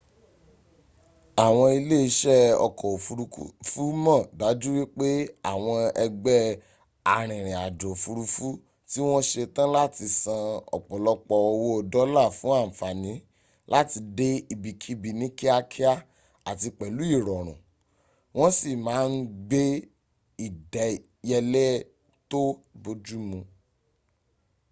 àwọn ilẹ́ isẹ́ ọkọ̀ òfurufú mọ̀ dájú wípẹ́ àwọn ẹgbẹ́ arìnrìn àjò òfurufú tí wọ́n setán láti san ọ̀pọ̀lọpọ̀ owó dọ́là fún ànfànì láti dẹ ibikíbi ní kíákíá àti pèlú ìrọ̀rùn wọn si máà n gba ìdẹ́yẹlẹ́ tó bójúmu